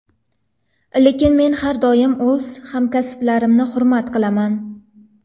Lekin men har doim o‘z hamkasblarimni hurmat qilaman.